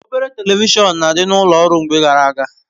Obere Televishọn n'adibu n'ulo ọrụ mgbe gara aga